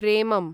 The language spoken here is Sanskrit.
प्रेमम्